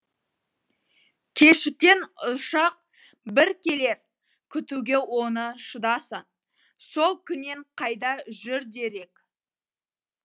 кешіккен ұшақ бір келер күтуге оны шыдасаң сол күннен қайда жүр дерек